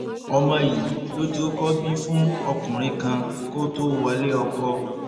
ọmọ yìí ló ti kọkọ bí fún ọkùnrin kan kó tóó wọlé ọkọ